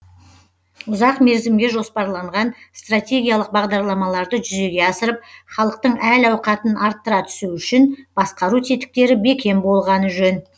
ұзақ мерзімге жоспарланған стратегиялық бағдарламаларды жүзеге асырып халықтың әл ауқатын арттыра түсу үшін басқару тетіктері бекем болғаны жөн